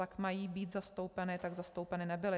Ač mají být zastoupeny, tak zastoupeny nebyly.